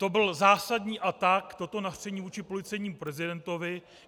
To byl zásadní atak, toto nařčení vůči policejnímu prezidentovi.